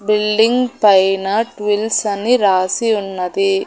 Building పైన ట్విల్స్ అని రాసి ఉన్నది.